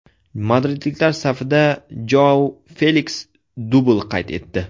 Madridliklar safida Joau Feliks dubl qayd etdi.